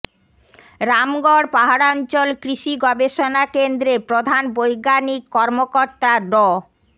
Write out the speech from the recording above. রামগড় পাহাড়াঞ্চল কৃষি গবেষনা কেন্দ্রের প্রধান বৈজ্ঞানিক কর্মকর্তা ড